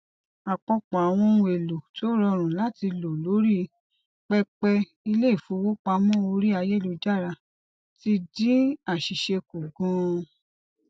àpapọ àwọn ohun èlò tó rọrùn láti lò lori pẹpẹ ileifowopamọ ori ayelujara ti dín àṣìṣe kù ganan